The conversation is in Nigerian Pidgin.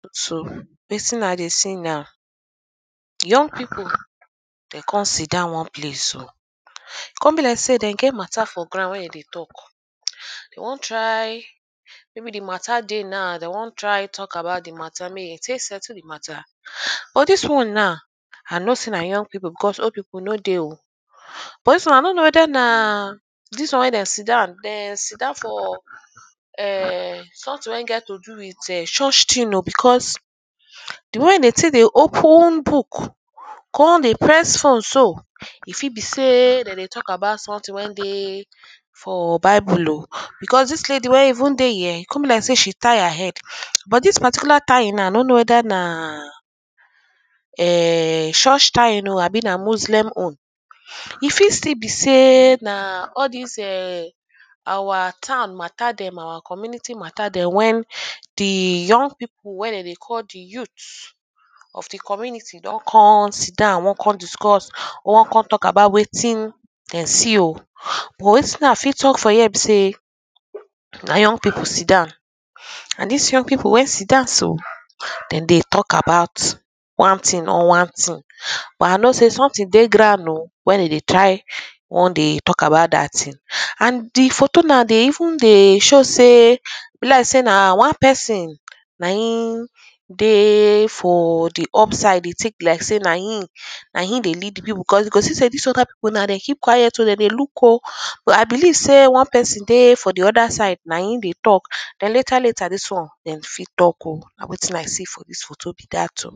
photo so, wetin i dey see na young people de con sit down one place oh. Con be like sey de get matter for ground wey dem dey talk. They wan try maybe the matter dey now, they wan try talk about the matter, make dem take settle the matter. But dis one noe, i know sey na young people because old people no dey oh. Dis one i no know whether na dis one wey dem sit down, dem sit down for ern something wey get to do with church things oh ern because the way wey dem take dey open book con dey press phone so, e fit be sey dem dey talk about something when dey for bible oh because dis lady wey even dey here con be like say she tie her head. But dis particular tying now, i no know whether na ern church tying oh abi na muslim own. E fit stil be sey na all dis ern our town matter dem our community matter dem when the young people wey dem dey call the youth of the community don con sit down. Wan con discuss, wan con talk about wetin dem see oh. But wetin i fit talk for here be sey na young people sit down erm. And dis young people wey sit down so, dem dey talk about one thing or one thing. But i know sey something dey ground oh wey dem dey try wan dey talk about dat thing. And the photo now dey even dey show sey er e be like sey na one person na im dey for the up side they tick like say na him, na him dey lead the people because you see sey dis other people now dem keep quiet oh. Dem dey look oh. But i believe sey one person dey for the other side na im dey talk. Den later later dis one dem fit talk oh. Na wetin i see for dis photo be dat oh.